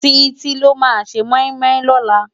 Titi ló má sé moimoi lòlá